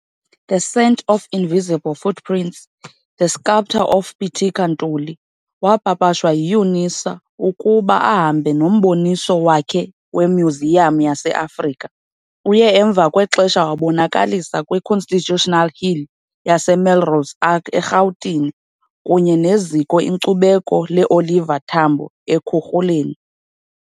'The Scent of Invisible Footprints- The Sculptor of Pitika Ntuli' wapapashwa yi-UNISA ukuba ahambe noMboniso wakhe weMyuziyam yase-Afrika. Uye emva kwexesha wabonakalisa kwi-Constitutional Hill naseMelrose Arch eRhawutini kunye neZiko iNkcubeko le-Oliver Tambo e-Ekhuruleni.